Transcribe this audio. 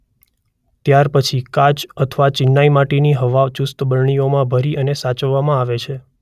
ત્યાર પછી કાચ અથવા ચીનાઇ માટીની હવાચુસ્ત બરણીઓમાં ભરી અને સાચવવામાં આવે છે.